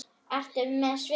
Ertu með svið?